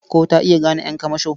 Ko ta iya gane ƴan kamasho?